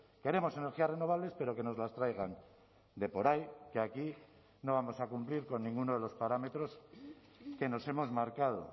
queremos energías renovables pero que nos las traigan de por ahí que aquí no vamos a cumplir con ninguno de los parámetros que nos hemos marcado